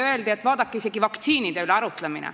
Öeldi, et vaadake kas või vaktsiinide üle arutlemist.